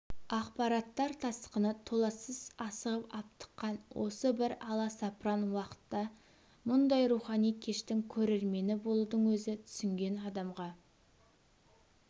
ақпараттар тасқыны толассыз асығып-аптыққан осы бір аласапыран уақытта мұндай рухани кештің көрермені болудың өзі түсінген адамға